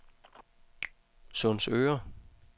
Sundsøre